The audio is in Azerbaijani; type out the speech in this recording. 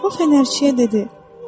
O fənərçiyə dedi.